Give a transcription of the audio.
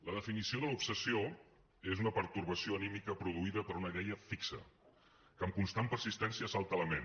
la definició de l’ obsessió és una pertorbació anímica produïda per una idea fixa que amb constant persistència assalta la ment